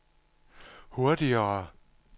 hurtigere